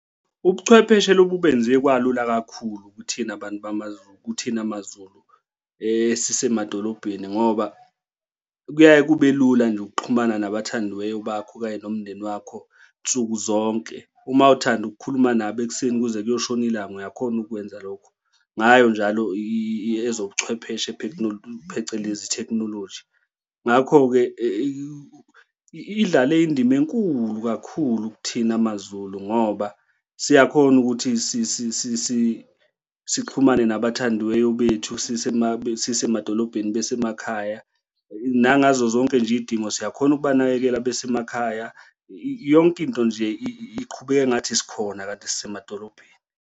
Ubuchwepheshe lobu benze kwalula kakhulu kuthina bantu kuthina amabamaZulu, kuthina maZulu esisemadolobheni ngoba, kuyaye kube lula nje ukuxhumana nabathandiweyo bakho okanye nomndeni wakho nsuku zonke. Uma uthanda ukukhuluma nabo ekuseni kuze kuyoshona ilanga uyakhona ukukwenza lokho ngayo njalo ezobuchwepheshe phecelezi thekhinoloji. Ngakho-ke idlale indima enkulu kakhulu kuthina maZulu ngoba siyakhona ukuthi sixhumane nabathandiweyo bethu sisemadolobheni besemakhaya nangazo zonke nje iy'dingo siyakhona ukubanakekela besemakhaya, yonke into nje iqhubeka engathi sikhona kanti sisemadolobheni.